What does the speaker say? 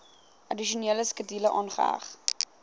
addisionele skedule aangeheg